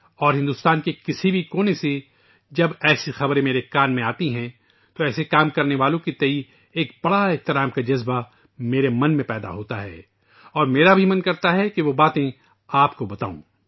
اورہندوستان کے کسی بھی گوشے سے جب ایسی خبریں میں سنتا ہوں تو ایسا کام کرنے والوں کے تئیں نہایت احترام کا جذبہ میرے دل میں بیدار ہوتا اور میرا بھی دل کرتا ہے کہ وہ باتیں آپ کو بتاؤں